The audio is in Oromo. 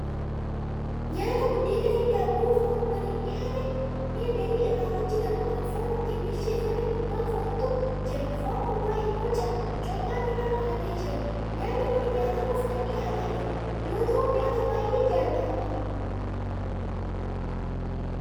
Nyaata buddeenaafi daabboo foon waliin dhihaate. mi'a galii irraa hojjatamu Kan foon ittiin bilcheeffamu gubbaa foontu Jira, foon gubbaa immoo corqaan irra kaa'amee jira. nyaanni Kuni nyaatamuuf Kan dhiyaatedha yoo ta'u nyaata baay'ee jaalatamaadha.